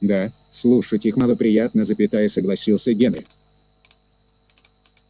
да слушать их малоприятносогласился генри